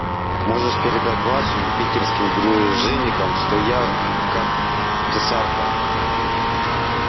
можешь передать вашим питерским дружинникам что я как цесарка